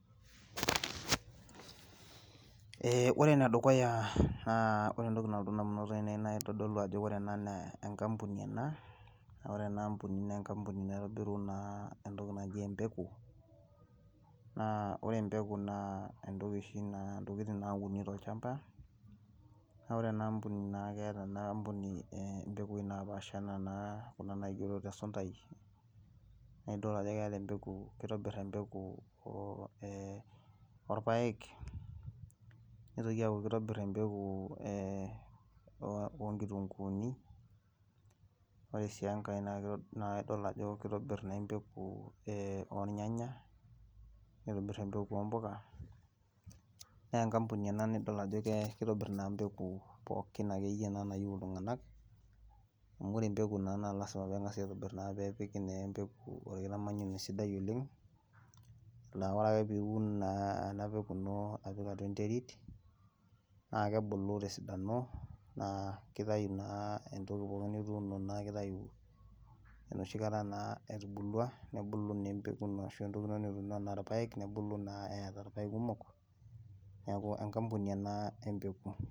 Eeh ore ene dukuya, ore entoki nalotu damunot ainei, nitodolu ajo ore ena naa enkampuni ena, naa ore ena aampuni, naa enkampuni naitodolu naa entoki naji, empeku, naa ore empeku naa entoki oshi na intokitin nauni tolchampa, naa ore ena ampuni naa keeta ena ampuni, impekui napaasha anaa ena naigero te suntai, naa idol ajo keeta empeku, kitobir empeku, oo ee oolpaek, nitoki aaku kitoir empeku ee oonkitunkuuni, ore sii enkae naa idol ajo kitobor naa empeku, ee oornyanay, nitobir empeku oo mpuka, naa enkampuni ena nidol ajo kitobirr naa mpeku pookin, akeyie naa nayieu ltunganak, amu ore empeku naa naalisima pee engasi aitobir, pee epiki naa empeku orkitamanyunoto sidai, oleng na ore ake piun naa nipik kuna apik atua enterit, naa kebulu tesidano naa kitayu naa, entoki pookin nituno neeku kitayu, enoshi kata naa etuubulua, nebulu naa empeku ino ashu entoki nituuno anaa irpaek, nebulu naa eeta irpaek kumok neeku enkampuni ena empeku.